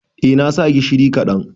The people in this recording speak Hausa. Eh na sa gishiri kaɗan.